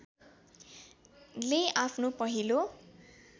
ले आफ्नो पहिलो